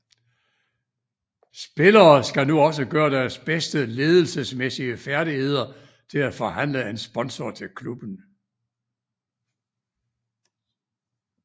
Spillere skal nu også gøre deres bedste ledelsesmæssige færdigheder til at forhandle en sponsor til klubben